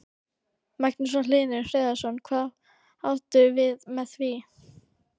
Magnús Hlynur Hreiðarsson: Hvað áttu við með því?